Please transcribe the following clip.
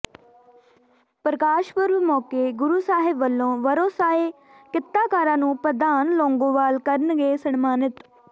ਪ੍ਰਕਾਸ਼ ਪੁਰਬ ਮੌਕੇ ਗੁਰੂ ਸਾਹਿਬ ਵੱਲੋਂ ਵਰੋਸਾਏ ਕਿੱਤਾਕਾਰਾਂ ਨੂੰ ਪ੍ਰਧਾਨ ਲੌਂਗੋਵਾਲ ਕਰਨਗੇ ਸਨਮਾਨਿਤ